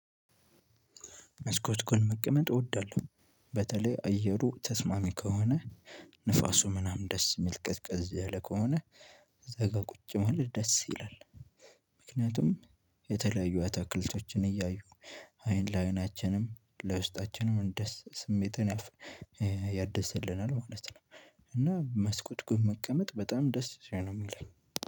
መስኮት ጎን መቀመጥ እወዳለሁ በተለይ አየሩ ተስማሚ ከሆነ ንፋሱ ምናምን ደስ የሚል ቅዝቅዝ ያለ ከሆነ እዛጋ ቁጭ ማለት ደስ ይላል። ምክንያቱም የተለያዩ አታክልቶችን እያዩ አይን ለአይናችንም ለውስጣችንም እንደስ ስሜትን ያድስልናል ማለት ነው። እና መስኮት ጎን መቀመጥ በጣም ደስ ነው ሚለኝ።